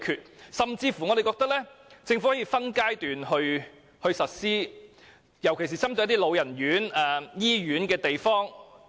我們甚至認為政府可以分階段實施，尤其是針對老人院或醫院等地方。